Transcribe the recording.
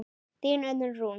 Þín Unnur Rún.